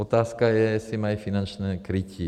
Otázka je, jestli mají finanční krytí.